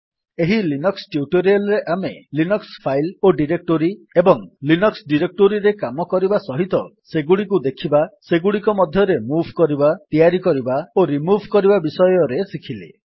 ଏହି Linux tutorial ରେ ଆମେ ଲିନକ୍ସ୍ ଫାଇଲ୍ ଓ ଡିରେକ୍ଟୋରୀ ଏବଂ ଲିନକ୍ସ୍ ଡିରେକ୍ଟୋରୀରେ କାମ କରିବା ସହିତ ସେଗୁଡିକୁ ଦେଖିବା ସେଗୁଡ଼ିକ ମଧ୍ୟରେ ମୁଭ୍ କରିବା ତିଆରି କରିବା ଓ ରିମୁଭ୍ କରିବା ବିଷୟରେ ଶିଖିଲେ